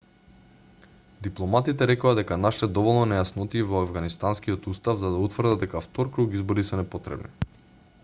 дипломатите рекоа дека нашле доволно нејаснотии во авганистанскиот устав за да утврдат дека втор круг избори се непотребни